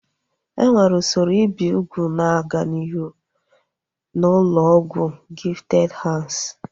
Enwere usoro ibi ugwu na-aga n'ihu n'ụlọ ọgwụ Gifted Hands